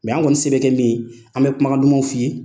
an kɔni se bɛ kɛ min ye an bɛ kumakan dumanw f'i ye.